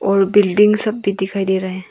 और बिल्डिंग सब भी दिखाई दे रहे है।